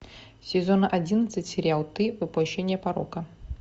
сезон одиннадцать сериал ты воплощение порока